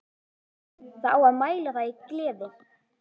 Það á að mæla það í gleði.